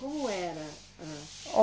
Como era? A